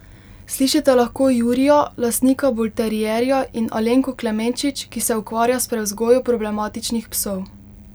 Slišite lahko Jurija, lastnika bulterierja in Alenko Klemenčič, ki se ukvarja s prevzgojo problematičnih psov.